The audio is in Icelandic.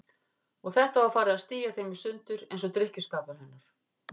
Og þetta var farið að stía þeim í sundur, eins og drykkjuskapur hennar.